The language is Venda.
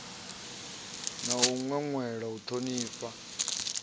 na u ṅweṅwela u ṱhonifha